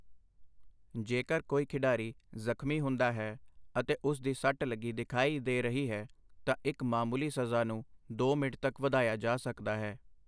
ਜੇਕਰ ਕੋਈ ਖਿਡਾਰੀ ਜ਼ਖਮੀ ਹੁੰਦਾ ਹੈ ਅਤੇ ਉਸ ਦੀ ਸੱਟ ਲੱਗੀ ਦਿਖਾਈ ਦੇ ਰਹੀ ਹੈ ਤਾਂ ਇੱਕ ਮਾਮੂਲੀ ਸਜ਼ਾ ਨੂੰ ਦੋ ਮਿੰਟ ਤੱਕ ਵਧਾਇਆ ਜਾ ਸਕਦਾ ਹੈ।